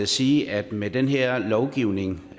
sige at med den her lovgivning